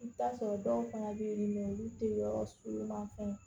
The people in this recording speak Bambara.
I bɛ t'a sɔrɔ dɔw fana bɛ yen mɛ olu tɛ yɔrɔ sugu ɲuman fɛn